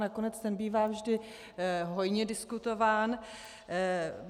Nakonec ten bývá vždy hojně diskutován.